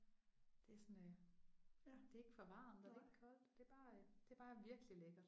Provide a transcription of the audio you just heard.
Det er sådan øh det er ikke for varmt og det er ikke koldt. Det er bare det er bare virkelig lækkert